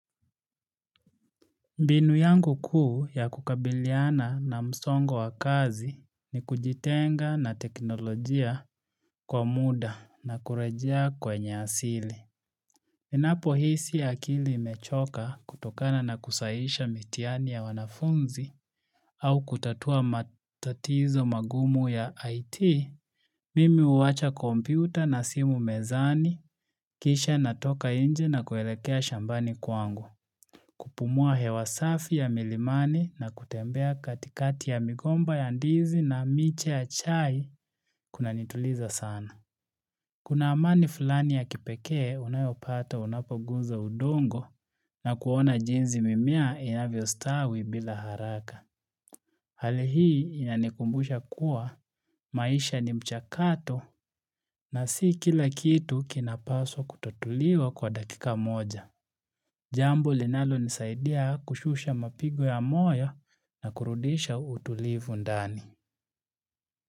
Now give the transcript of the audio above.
Nbinu yangu kuu ya kukabiliana na msongo wa kazi ni kujitenga na teknolojia kwa muda na kurejea kwenye asili. Ninapo hisi akili mechoka kutokana na kusahihisha mitihani ya wanafunzi au kutatua matatizo magumu ya IT, mimi huwacha komputa na simu mezani, kisha natoka nje na kuelekea shambani kwangu, kupumua hewa safi ya milimani na kutembea katikati ya migomba ya ndizi na miche ya chai kunanituliza sana. Kuna amani fulani ya kipeke unayopata unapoguza udongo na kuona jinsi mimea inavyo stawi bila haraka. Hali hii inanikumbusha kuwa maisha ni mchakato na si kila kitu kinapaswa kutotuliwa kwa dakika moja. Jambo linalonisaidia kushusha mapigo ya moya na kurudisha utulivu ndani.